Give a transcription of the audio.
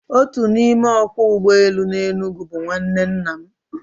Otu n'ime ọkwọ ụgbọelu n'Enugu bụ nwanne nna m